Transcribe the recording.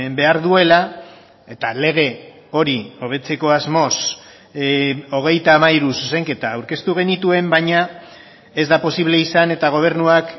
behar duela eta lege hori hobetzeko asmoz hogeita hamairu zuzenketa aurkeztu genituen baina ez da posible izan eta gobernuak